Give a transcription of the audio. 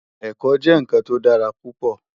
Èkò jè nkán tó dàrá púpò